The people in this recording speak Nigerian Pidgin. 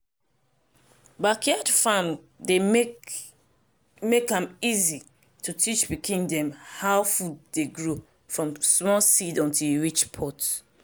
backyard farm dey make make am easy to teach pikin dem how food dey grow from small seed until e reach pot.